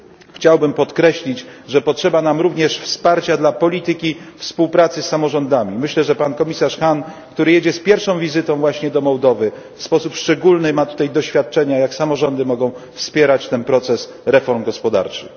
Chciałbym podkreślić, że potrzeba nam również wsparcia dla polityki współpracy z samorządami. Myślę, że pan komisarz Hahn, który jedzie z pierwszą wizytą właśnie do Mołdowy, w sposób szczególny ma tutaj doświadczenia, jak samorządy mogą wspierać ten proces reform gospodarczych.